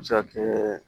A bɛ se ka kɛ